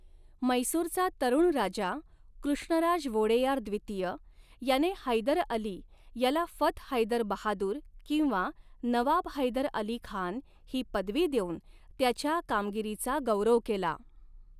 म्हैसूरचा तरुण राजा कृष्णराज वोडेयार द्वितीय याने हैदर अली याला फथ हैदर बहादुर' किंवा 'नवाब हैदर अली खान' ही पदवी देऊन त्याच्या कामगिरीचा गौरव केला.